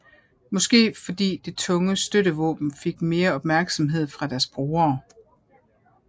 Måske fordi det tunge støttevåben fik mere opmærksomhed fra deres brugere